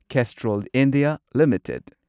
Castrol India limited